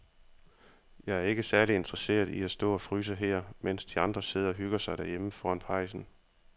Jeg er ikke særlig interesseret i at stå og fryse her, mens de andre sidder og hygger sig derhjemme foran pejsen.